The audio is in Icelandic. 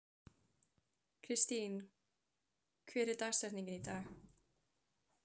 Kristine, hver er dagsetningin í dag?